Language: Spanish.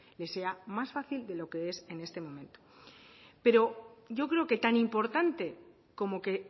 les sea más fácil de lo que les es en este momento pero yo creo que tan importante como que